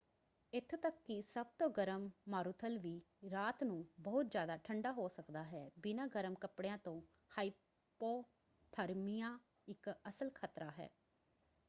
ਇੱਥੋਂ ਤੱਕ ਕਿ ਸਭ ਤੋਂ ਗਰਮ ਮਾਰੂਥਲ ਵੀ ਰਾਤ ਨੂੰ ਬਹੁਤ ਜ਼ਿਆਦਾ ਠੰਡਾ ਹੋ ਸਕਦਾ ਹੈ। ਬਿਨਾਂ ਗਰਮ ਕੱਪੜਿਆਂ ਤੋਂ ਹਾਇਪੋਥਰਮੀਆ ਇੱਕ ਅਸਲ ਖਤਰਾ ਹੈ।